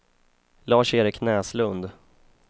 Lars-Erik Näslund